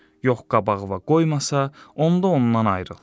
Yox qabağına qoymasa, onda ondan ayrıl.